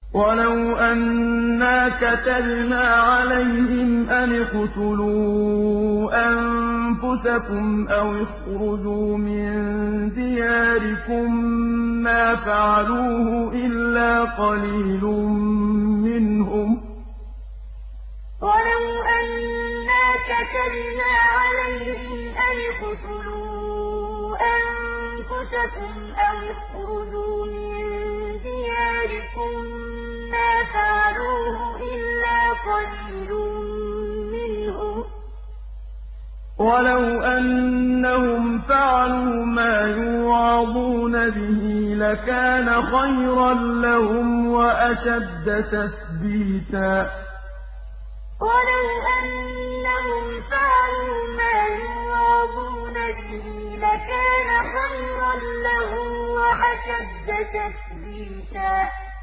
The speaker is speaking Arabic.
وَلَوْ أَنَّا كَتَبْنَا عَلَيْهِمْ أَنِ اقْتُلُوا أَنفُسَكُمْ أَوِ اخْرُجُوا مِن دِيَارِكُم مَّا فَعَلُوهُ إِلَّا قَلِيلٌ مِّنْهُمْ ۖ وَلَوْ أَنَّهُمْ فَعَلُوا مَا يُوعَظُونَ بِهِ لَكَانَ خَيْرًا لَّهُمْ وَأَشَدَّ تَثْبِيتًا وَلَوْ أَنَّا كَتَبْنَا عَلَيْهِمْ أَنِ اقْتُلُوا أَنفُسَكُمْ أَوِ اخْرُجُوا مِن دِيَارِكُم مَّا فَعَلُوهُ إِلَّا قَلِيلٌ مِّنْهُمْ ۖ وَلَوْ أَنَّهُمْ فَعَلُوا مَا يُوعَظُونَ بِهِ لَكَانَ خَيْرًا لَّهُمْ وَأَشَدَّ تَثْبِيتًا